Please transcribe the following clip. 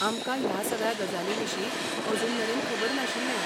आमकां ह्या सगळ्या गजालींविशीं अजूनमेरेन खबर नाशिल्लें.